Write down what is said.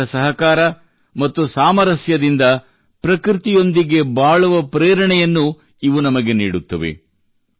ಪರಸ್ಪರ ಸಹಕಾರ ಮತ್ತು ಸಾಮರಸ್ಯದಿಂದ ಪ್ರಕೃತಿಯೊಂದಿಗೆ ಬಾಳುವ ಪ್ರೇರಣೆಯನ್ನು ಇವು ನಮಗೆ ನೀಡುತ್ತವೆ